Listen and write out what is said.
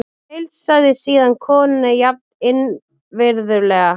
Heilsaði síðan konunni jafn innvirðulega.